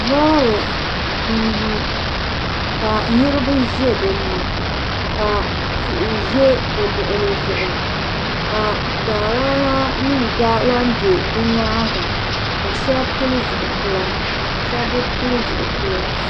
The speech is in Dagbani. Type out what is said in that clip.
Loori n lu ka niraba ʒɛ dinni ka tihi ʒɛ bi luɣuli zuɣu ka daadama mii gba lahi bɛ di nyaanga ka shab pili zipila shab bi pili zipila